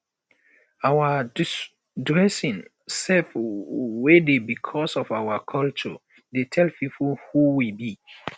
our dressing sef wey dey becos of our culture dey tell pipo who we be